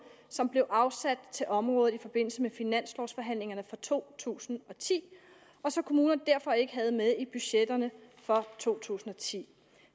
som blev afsat til området i forbindelse med finanslovforhandlingerne for to tusind og ti og som kommunerne derfor ikke havde med i budgetterne for to tusind og ti